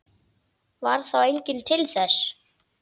Varð þá enginn til þess.